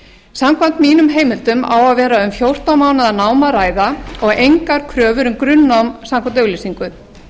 samkvæmt mínum heimildum á að vera um fjórtán mánaða nám að ræða og engar kröfur um grunnnám samkvæmt auglýsingu